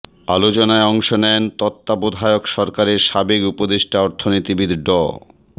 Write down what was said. আলোচনায় অংশ নেন তত্ত্বাবধায়ক সরকারের সাবেক উপদেষ্টা অর্থনীতিবিদ ড